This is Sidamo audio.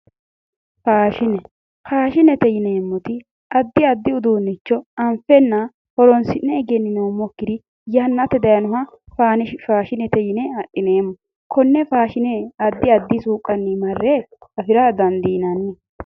faashine faashinete yineemmori addi addi uduunnicho anfenna horonsi'ne egenninoommokiri yannate dayiinoha faashinete yine adhineemmo konne faashine marre addi addu suuqqanni afira dandiinanni.